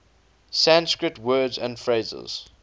sanskrit words and phrases